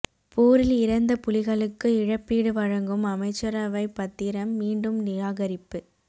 போரில் இறந்த புலிகளுக்கு இழப்பீடு வழங்கும் அமைச்சரவைப் பத்திரம் மீண்டும் நிராகரிப்பு